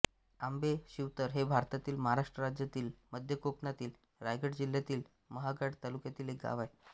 आंबे शिवतर हे भारतातील महाराष्ट्र राज्यातील मध्य कोकणातील रायगड जिल्ह्यातील महाड तालुक्यातील एक गाव आहे